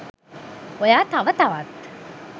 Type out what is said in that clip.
ඔයා තව තවත්